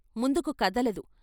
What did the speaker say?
ముందుకు కదలదు.